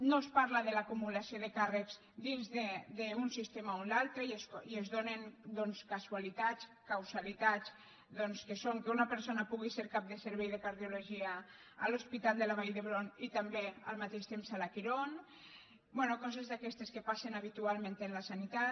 no es parla de l’acumulació de càrrecs dins d’un sistema o l’altre i es donen casualitats causalitats doncs que són que una persona pugui ser cap del servei de car·diologia a l’hospital de la vall d’hebron i també al mateix temps a la quirón bé coses d’aquestes que passen habitualment en la sanitat